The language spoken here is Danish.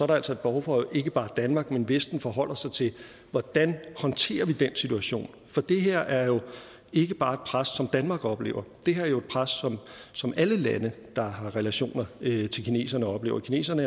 der altså et behov for at ikke bare danmark men vesten forholder sig til hvordan vi håndterer den situation for det her er jo ikke bare et pres som danmark oplever det her er jo et pres som alle lande der har relationer til kineserne oplever kineserne